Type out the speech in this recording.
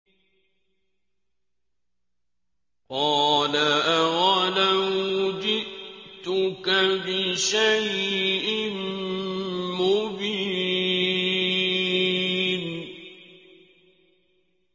قَالَ أَوَلَوْ جِئْتُكَ بِشَيْءٍ مُّبِينٍ